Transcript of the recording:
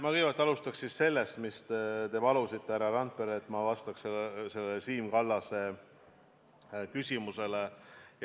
Ma kõigepealt alustaks sellest, mida te, härra Randpere, palusite seoses Siim Kallase küsimusega.